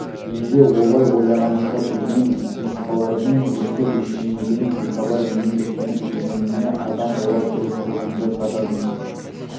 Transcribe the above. неге олай ойлағанымды білмеймін құмырсқалардың өстіп ештеңеден бейхабар еңбектеніп жүргеніне адам бола тұрып көзімді қададым